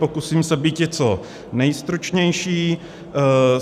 Pokusím se býti co nejstručnější.